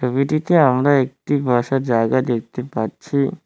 ছবিটিতে আমরা একটি বসার জায়গা দেখতে পাচ্ছি।